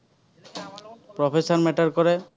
professer matter কৰে।